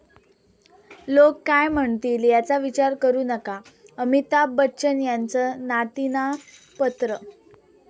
लोक काय म्हणतील याचा विचार करु नका, अमिताभ बच्चन यांचं नातींना पत्रं